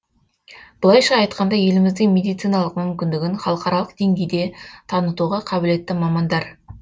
былайша айтқанда еліміздің медициналық мүмкіндігін халықаралық деңгейде танытуға қабілетті мамандар